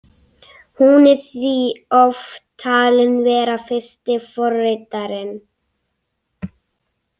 Hún er því oft talin vera fyrsti forritarinn.